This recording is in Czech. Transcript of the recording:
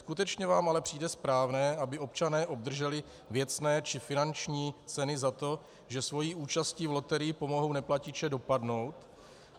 Skutečně vám ale přijde správné, aby občané obdrželi věcné či finanční ceny za to, že svojí účastí v loterii pomohou neplatiče dopadnout?